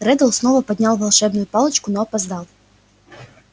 реддл снова поднял волшебную палочку но опоздал